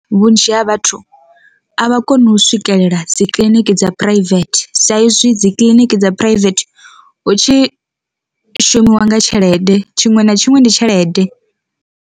Vhunzhi ha vhathu a vha koni u swikelela dzi kiḽiniki dza private, sa izwi dzi kiḽiniki dza private hu tshi shumiwa nga tshelede tshiṅwe na tshiṅwe ndi tshelede.